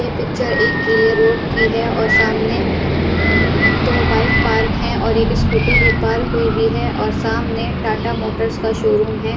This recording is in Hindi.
ये पिक्चर एक गीले रोड की है और सामने दो बाइक पार्क है और एक स्कूटी भी पार्क हुई हुई है और सामने टाटा मोटर्स का शोरूम है।